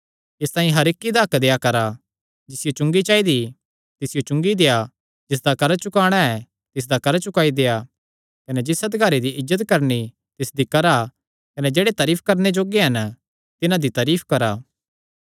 इसतांई हर इक्क दा हक्क देआ करा जिसियो चुंगी चाइदी तिसियो चुंगी देआ जिसदा कर्जा चुकाणा ऐ तिसदा कर्जा चुकाई देआ कने जिस अधिकारी दी इज्जत करणी तिसदी करा कने जेह्ड़े तारीफ करणे जोग्गे हन तिन्हां दी तारीफ करा